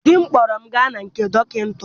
Di m kpọrọ m gaa na nke dọkịta.